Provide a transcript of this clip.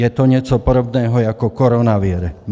Je to něco podobného jako koronavir.